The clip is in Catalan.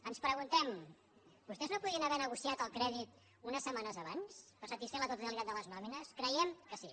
ens preguntem vostès no podien haver negociat el crèdit unes setmanes abans per satisfer la totalitat de les nòmines creiem que sí